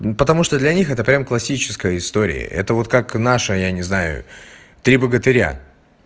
ну потому что для них это прямо классическая история это вот как наша я не знаю три богатыря